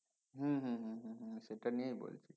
হম হম হম সেটা নিয়ে বলছি